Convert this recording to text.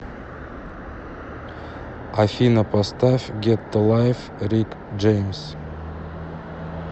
афина поставь гетто лайф рик джеймс